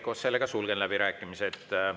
Head kolleegid, sulgen läbirääkimised.